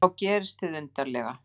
Og þá gerist hið undarlega.